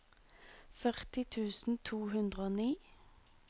førti tusen to hundre og ni